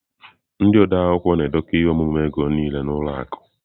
Ndị odeakwụkwọ na-edekọ ihe omume ego niile na ụlọ akụ.